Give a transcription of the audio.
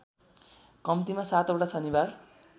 कम्तिमा सातवटा शनिबार